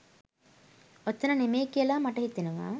ඔතන නෙමෙයි කියලා මට හිතෙනෙවා